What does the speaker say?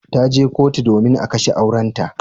Ta je kotu domin a kashe aurenta.